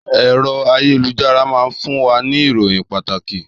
Èrò àyélujárá máa fún wa ní ìròyìn pàtàkì